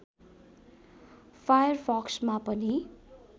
फायरफक्समा पनि